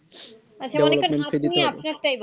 আচ্ছা মনে করেন আপনি আপনার তাই বলেন